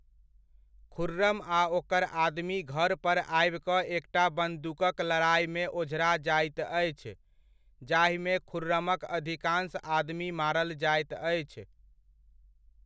खुर्रम आ ओकर आदमी घर पर आबि कऽ एकटा बन्दूकक लड़ाइमे ओझरा जाइत अछि, जाहिमे खुर्रमक अधिकान्श आदमी मारल जायत अछि।